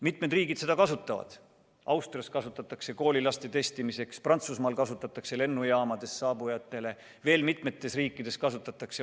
Mitmed riigid neid kasutavad: Austrias kasutatakse neid koolilaste testimiseks, Prantsusmaal kasutatakse lennujaamades saabujatele, veel mitmes riigis kasutatakse.